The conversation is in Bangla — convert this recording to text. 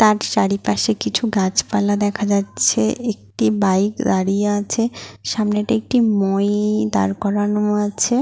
তার শাড়ি পাশে কিছু গাছপালা দেখা যাচ্ছে । একটি বাইক দাঁড়িয়ে আছে । সামনেটায় একটি মই দাঁড় করানো আছে।